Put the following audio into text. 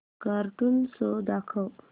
cartoon show दाखव